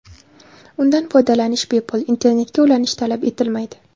Undan foydalanish bepul, internetga ulanish talab etilmaydi.